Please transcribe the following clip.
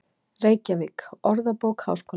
Reykjavík, Orðabók Háskólans.